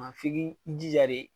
Maa f'i 'i jija de.